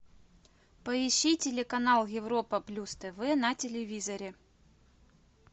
поищи телеканал европа плюс тв на телевизоре